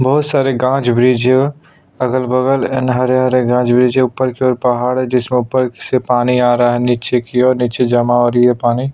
बहोत सारे गाछ वृक्ष अगल बगल इन हरे हरे गाछ वृक्ष है ऊपर की ओर पहाड़ है जिसमें ऊपर से पानी आ रहा है नीचे की ओर नीचे जमा हो रही हैं पानी --